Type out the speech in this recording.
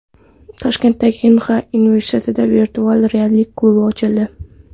Toshkentdagi Inxa universitetida virtual reallik klubi ochildi.